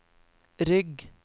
rygg